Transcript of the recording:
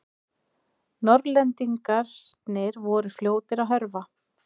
Norðlendingarnir voru fljótir að hörfa.